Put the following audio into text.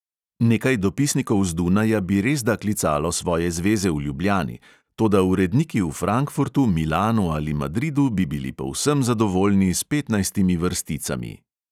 Nekaj dopisnikov z dunaja bi resda klicalo svoje zveze v ljubljani, toda uredniki v frankfurtu, milanu ali madridu bi bili povsem zadovoljni s petnajstimi vrsticami.